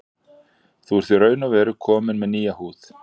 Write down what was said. Þú ert í raun og veru kominn með nýja húð.